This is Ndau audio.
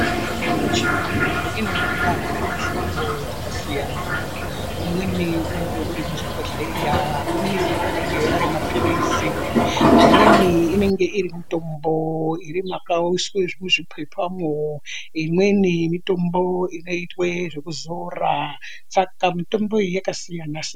Mitombo yedu yechiyungu inouya iri muhlobo dzakasiyana. Umweni unenge ui muzvibhohlera umweni anenge ari mapilizi amweni inenge irimutombo iri mwakaushwe muzvipepamwo imweni mitombo inoite zvekuzora, saka mitombo iyi yakasiyana siyana .